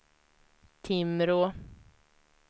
Timrå